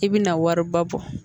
I bɛna wariba bɔ